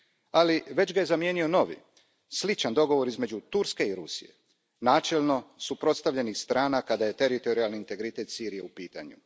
Ali, već ga je zamijenio novi, sličan dogovor između Turske i Rusije, načelno suprotstavljenih strana kada je teritorijalni integritet Sirije u pitanju.